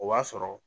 O b'a sɔrɔ